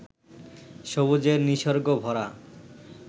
সবুজের নিসর্গ ভরা